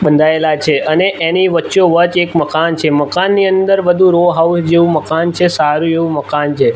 બંધાયેલા છે અને એની વચ્ચો વચ એક મકાન છે મકાનની અંદર બધુ રો હાઉસ જેવુ મકાન છે સારુ એવુ મકાન છે.